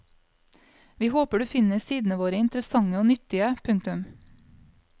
Vi håper du finner sidene våre interessante og nyttige. punktum